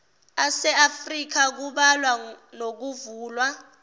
aseafrika kubala nokuvulwa